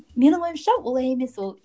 менің ойымша олай емес ол